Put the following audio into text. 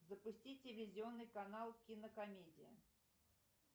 запусти телевизионный канал кинокомедия